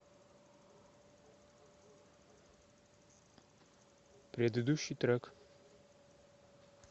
предыдущий трек